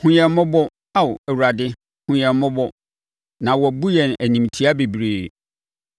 Hu yɛn mmɔbɔ, Ao Awurade, hunu yɛn mmɔbɔ, na wɔabu yɛn animtia bebree.